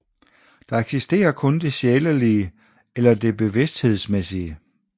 Der eksisterer kun det sjælelige eller det bevidsthedsmæssige